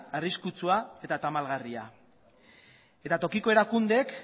arriskutsua eta tamalgarria eta tokiko erakundeek